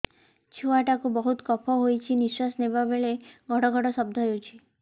ଛୁଆ ଟା କୁ ବହୁତ କଫ ହୋଇଛି ନିଶ୍ୱାସ ନେଲା ବେଳେ ଘଡ ଘଡ ଶବ୍ଦ ହଉଛି